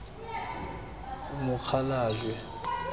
mokgalajwe